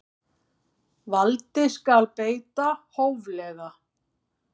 Valdi skal beita hóflega.